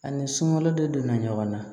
Ani sunɔgɔla dɔ donna ɲɔgɔn na